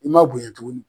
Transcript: I ma bonyɛ tuguni